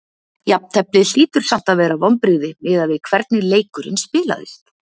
Jafnteflið hlýtur samt að vera vonbrigði miðað við hvernig leikurinn spilaðist?